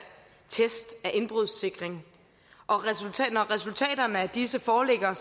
test af indbrudssikring og når resultaterne af disse foreligger er